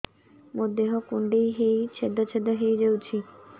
ମୋ ଦେହ କୁଣ୍ଡେଇ ହେଇ ଛେଦ ଛେଦ ହେଇ ଯାଉଛି